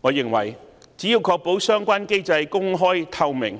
我認為只要確保相關機制公開透明，